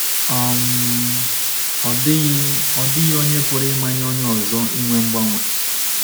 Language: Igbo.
um “Ọ dịghị “Ọ dịghị onye pụrụ imanye onye ọzọ inwe mgbanwe.